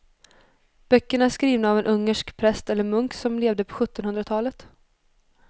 Böckerna är skrivna av en ungersk präst eller munk som levde på sjuttonhundratalet.